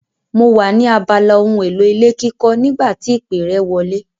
Mo wà ní abala ohun èlò ilé kíkọ́ nígbà tí ìpè rẹ wọlé.